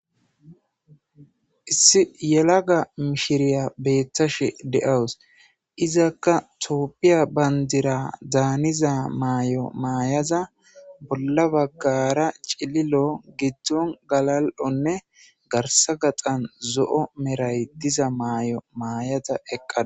issi yelaga mishiriya beettashe de7awus izakka topphiya bandira daaniza maay7o maayaza bolla baggara cililo giddon galal7onne garsa gaxan zo7o meray diza maay7o maayada eqqad